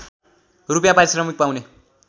रूपियाँ पारिश्रमिक पाउने